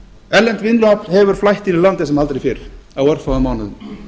erlent vinnuafl hefur flætt inn í landið sem aldrei fyrr á örfáum mánuðum